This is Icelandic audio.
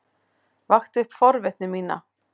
Vakti upp forvitni mína.